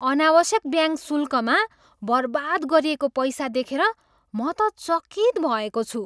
अनावश्यक ब्याङ्क शुल्कमा बर्बाद गरिएको पैसा देखेर म त चकित भएको छु।